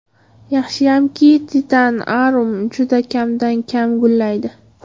Yaxshiyamki, Titan Arum juda kamdan kam gullaydi.